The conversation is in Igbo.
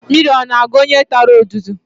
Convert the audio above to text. Mmiri ọ na-agụ onye tara odudu?